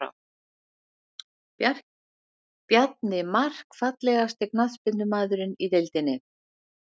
Bjarni Mark Fallegasti knattspyrnumaðurinn í deildinni?